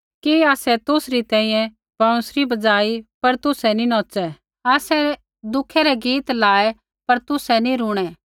कि आसै तुसरी तैंईंयैं बैंउसरी बज़ाई पर तुसै नी नौच़ै आसै दुखै री गीत लायै पर तुसै नी रूणै